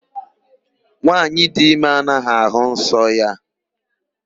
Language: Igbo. Nwaanyị dị ime anaghị àhụ́ nsọ ya.